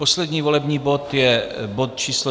Poslední volební bod je bod číslo